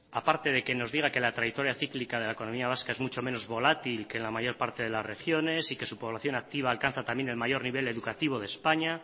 a parte de que nos diga que la trayectoria cíclica de la economía vasca es mucho menos volátil que en la mayor parte de las regiones y que su población activa alcanza también el mayor nivel educativo de españa